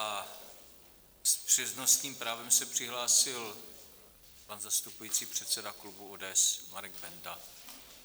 A s přednostním právem se přihlásil pan zastupující předseda klubu ODS Marek Benda.